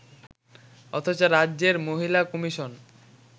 অথচ রাজ্যের মহিলা কমিশন